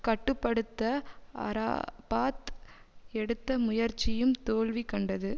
கட்டு படுத்த அரபாத் எடுத்த முயற்சியும் தோல்வி கண்டது